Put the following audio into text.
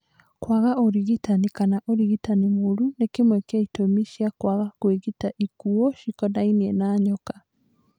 kwaga ũrigitani kana ũrigitani mũũru nĩ kĩmwe gĩa ĩtũmi cia kwaga kũĩgita ikuu cikonainiĩ na nyoka.